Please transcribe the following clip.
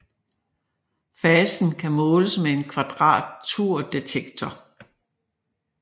Fasen kan måles med en kvadraturdetektor